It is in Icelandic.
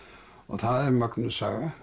það er mögnuð saga